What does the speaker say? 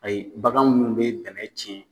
Ayi bagan munnu bɛ dɛmɛ tiɲɛ.